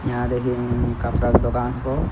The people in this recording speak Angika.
यहां देखिं इइ कपड़ा क दोकान हको।